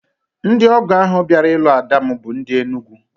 Ndị ọgọ ahụ bịara ilu ada m bụ ndị Enugwu